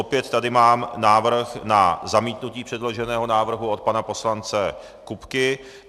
Opět tady mám návrh na zamítnutí předloženého návrhu od pana poslance Kupky.